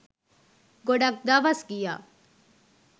ගොඩක් දවස් ගියා.